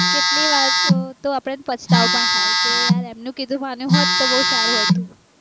કેટલી વાર તો આપણને પછતાવો પણ થાય કે યાર એમનું કીધું માન્યું હોત તો બૌ સારું હતું